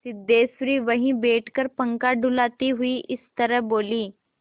सिद्धेश्वरी वहीं बैठकर पंखा डुलाती हुई इस तरह बोली